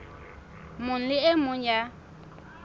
mong le e mong ya